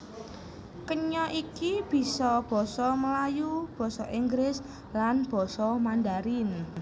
Kenya iki bisa basa Melayu basa Inggris lan basa Mandharin